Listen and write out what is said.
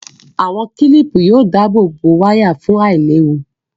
Àwọn kílìpù yóò dáàbò wáyà fún àìléwu